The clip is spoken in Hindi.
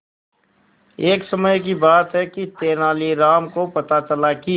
एक समय की बात है कि तेनालीराम को पता चला कि